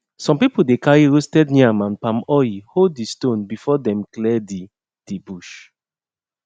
some people dey carry roasted yam and palm oil ho the stone before them clear the the bush